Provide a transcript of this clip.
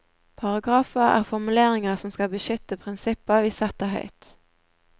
Paragrafer er formuleringer som skal beskytte prinsipper vi setter høyt.